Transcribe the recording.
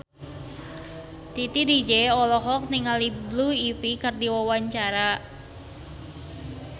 Titi DJ olohok ningali Blue Ivy keur diwawancara